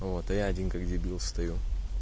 вот а я один как дебил стою